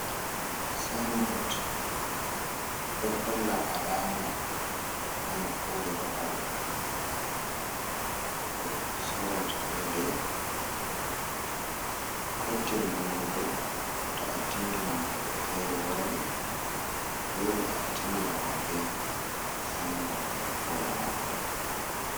Sinbot ɗo holla alama nokkure babal goɗɗo sorata funde. Ko tindungo bo to a tindina goɗɗo feere waran dole a tindina maɓɓe si bot nokkure mako.